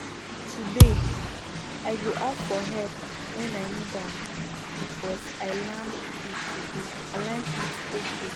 Today, I go ask for help when I need am, because I learned it today, I learned it’s okay.